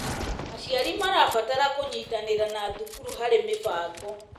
Aciari marabatara kũnyitanĩra na thukuru harĩ mĩbango.